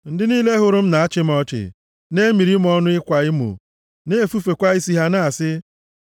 Ndị niile hụrụ m na-achị m ọchị; na-emiri m ọnụ ịkwa emo, na-efufekwa isi ha na-asị.